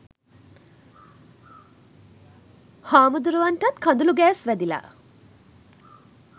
හාමුදුරුවන්ටත් කඳුළු ගෑස් වැදිලා